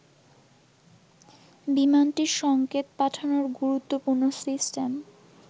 বিমানটির সংকেত পাঠানোর গুরুত্বপূর্ণ সিস্টেম